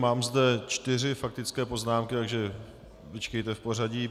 Mám zde čtyři faktické poznámky, takže vyčkejte v pořadí.